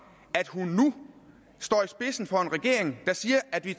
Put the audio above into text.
at hun nu står i spidsen for en regering der siger at vi